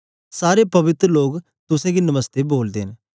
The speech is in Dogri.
सारे पवित्र लोक तुसेंगी नमस्ते बोलदे न